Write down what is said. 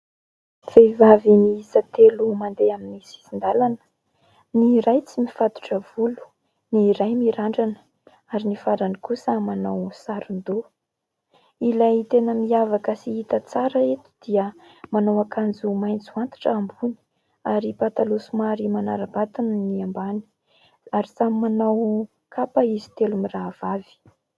Vehivavy miisa telo mandeha amin'ny sisin-dalana. Ny iray tsy mifatotra volo, ny iray mirandrana ary ny farany kosa manao saron-doha. Ilay tena miavaka sy hita tsara eto dia manao akanjo maitso antitra ambony ary pataloha somary manara-batana ny ambany, ary samy manao kapa izy telo mirahavavy.